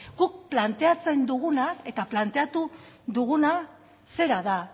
guk planteatzen duguna eta planteatu duguna zera da